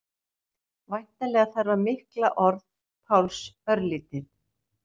Væntanlega þarf að milda orð Páls örlítið.